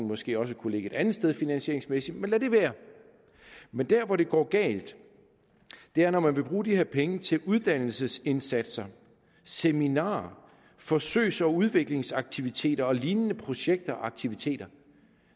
måske også kunne ligge et andet sted finansieringsmæssigt men lad det være men der hvor det går galt er når man vil bruge de her penge til uddannelsesindsatser seminarer forsøgs og udviklingsaktiviteter og lignende projekter og aktiviteter